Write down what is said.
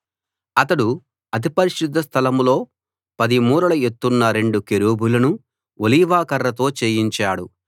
అతడు అతి పరిశుద్ధ స్థలం లో 10 మూరల ఎత్తున్న రెండు కెరూబులను ఒలీవ కర్రతో చేయించాడు